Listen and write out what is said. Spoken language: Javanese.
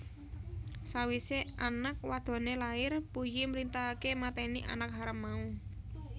Sawise anak wadone lair Puyi mrintahake mateni anak haram mau